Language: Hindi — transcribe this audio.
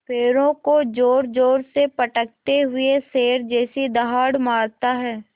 पैरों को ज़ोरज़ोर से पटकते हुए शेर जैसी दहाड़ मारता है